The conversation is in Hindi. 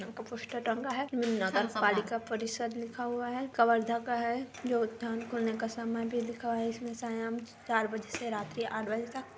पोस्टर टंगा है। नगर पालिका परिषद लिखा हुआ है। का है। योधान करने का सामान भी लिखा है इसमे सायाम चार बजे से रात के आठ बजे तक।